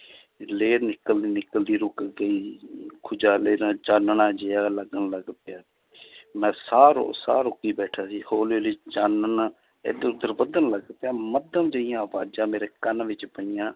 ਲੇਹ ਨਿਕਲਦੀ ਨਿਕਲਦੀ ਰੁੱਕ ਗਈ ਨਾਲ ਚਾਨਣਾ ਜਿਹਾ ਲੱਗਣ ਲੱਗ ਪਿਆ ਮੈਂ ਸਾਹ ਰੋ~ ਸਾਹ ਰੋਕੀ ਬੈਠਾ ਸੀ ਹੌਲੀ ਹੌਲੀ ਚਾਨਣ ਇੱਧਰ ਉੱਧਰ ਵਧਣ ਲੱਗ ਪਿਆ ਮੱਧਮ ਜਿਹੀਆਂ ਆਵਾਜ਼ਾਂ ਮੇਰੇ ਕੰਨ ਵਿੱਚ ਪਈਆਂ